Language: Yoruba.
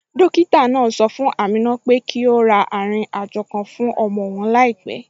Dókítà náà sọ fún Amina pé kó ra arìnrìn àjò kan fún ọmọ òun láìpẹ